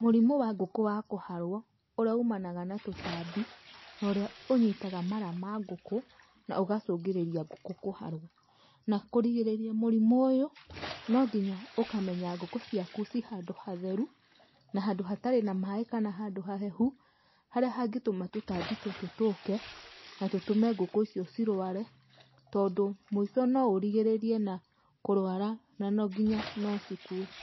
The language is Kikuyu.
Mũrimũ wa ngũkũ wa kũharwo, ũrĩa umanaga na tũtambi na ũrĩa ũnyitaga mara ma ngũkũ na ũgacũngĩrĩria ngũkũ kũharwo. Na kũrigĩrĩria mũrimũ ũyũ, no nginya ũkamenya ngũkũ ciaku ci handũ hatheru na handũ hatari na maaĩ kana handũ hahehũ, harĩa hangĩtũma tũtambi tũtũ tũũke na tũtũme ngũkũ icio cirware tondũ mũico no ũrigĩrĩrie na kũrwara na no, ngĩnya no cikue.